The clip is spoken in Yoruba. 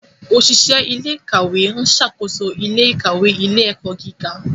Oṣiṣẹ ilé-ìkawe n ṣàkóso ilé-ìkawe ilé-ẹkọ gíga.